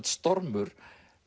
stormur